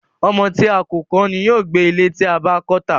Ọmọ tí a kò kọ́ ni yóò gbé ilé tí a bá kọ́ tà.